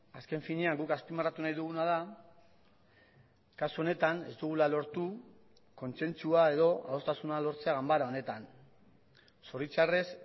azken finean guk azpimarratu nahi duguna da kasu honetan ez dugula lortu kontzentzua edo adostasuna lortzea ganbara honetan zoritzarrez